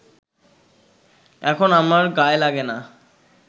এখন আমার গায়ে লাগে না